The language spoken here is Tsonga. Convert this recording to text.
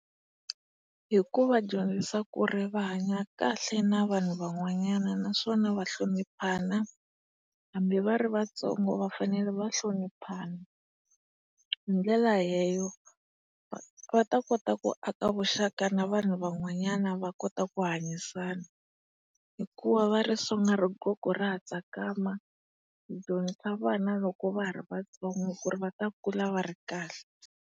Hi kunva dyondzisa ku ri va hanya kahle na vanhu van'wanyana naswona va hloniphana, hambi va ri vatsongo va fanele va hloniphana. Hi ndlela va ta kota ku aka vuxaka na vanhu van'wanyana va kota ku hanyisana. Hikuva va ri sunga rigogo ra ha tsakama, hi dyondzisa vana loko va ha ri vatsongo ku ri va ta kula va ri kahle.